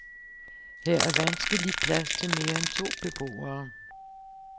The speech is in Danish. Her er vanskeligt plads til mere end to beboere.